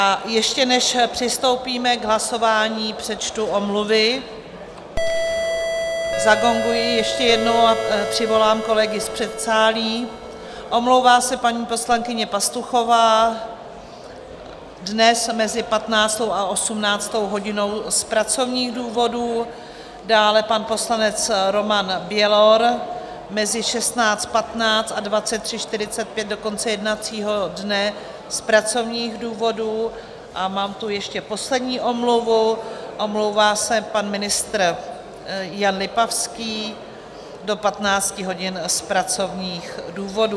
A ještě než přistoupíme k hlasování, přečtu omluvy - zagonguji ještě jednou a přivolám kolegy z předsálí - omlouvá se paní poslankyně Pastuchová dnes mezi 15. a 18. hodinou z pracovních důvodů, dále pan poslanec Roman Bělor mezi 16.15 a 23.45 do konce jednacího dne z pracovních důvodů a mám tu ještě poslední omluvu, omlouvá se pan ministr Jan Lipavský do 15 hodin z pracovních důvodů.